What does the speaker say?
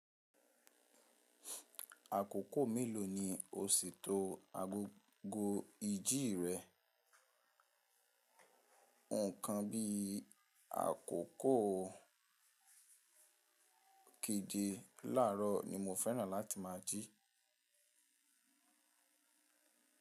Àkókò mélòó ni o si to agogo ìjì rẹ? Nkán bí àkókò keje láàrọ̀ ni mo fẹ́ràn láti ma jí.